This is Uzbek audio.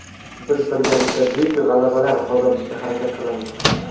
Biz birgalikda buyuk g‘alabalar qozonishga harakat qilamiz.